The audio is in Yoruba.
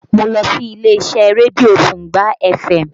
Mo lọ sí ilé-iṣẹ́ rédíó Tungba fm